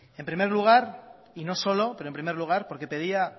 en primer lugar y no solo pero en primer lugar porque pedía